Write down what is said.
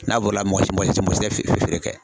N'a borila mɔgɔ si mɔgɔ si tɛ feere kɛ.